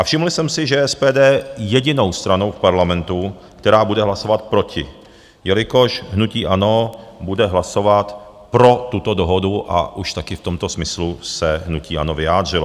A všiml jsem si, že SPD je jedinou stranou v Parlamentu, která bude hlasovat proti, jelikož hnutí ANO bude hlasovat pro tuto dohodu,, a už také v tomto smyslu se hnutí ANO vyjádřilo.